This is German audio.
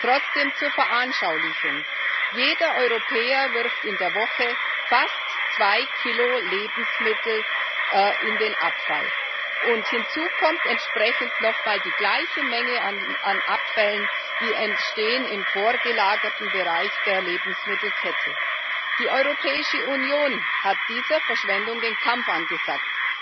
Trotzdem zur Veranschaulichung Jeder Europäer wirft in der Woche fast zwei Kilo Lebensmittel in den Abfall, und hinzu kommt entsprechend nochmals die gleiche Menge an Abfällen, die im vorgelagerten Bereich der Lebensmittelkette entstehen. Die Europäische Union hat dieser Verschwendung den Kampf angesagt.